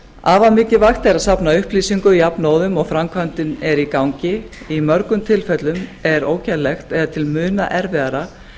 afar mikilvægt er að safna upplýsingum jafnóðum og framkvæmdin er í gangi í mörgum tilfellum er ógerlegt eða til muna erfiðara